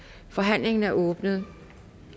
forhandlingen er åbnet